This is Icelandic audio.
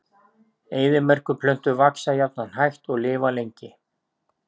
Eyðimerkurplöntur vaxa jafnan hægt og lifa lengi.